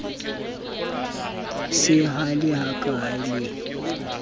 se a le hkae le